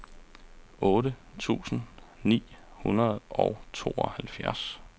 otte tusind ni hundrede og tooghalvfjerds